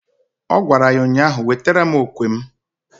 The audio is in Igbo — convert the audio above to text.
Ọ gwara ya ụnyaahụ "Wetara mụ okwe m"!